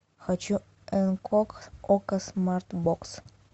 хочу энкок окко смарт бокс